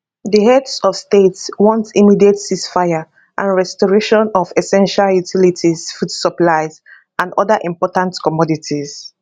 di heads of state want immediate ceasefire and restoration of essential utilities food supplies and oda important commodities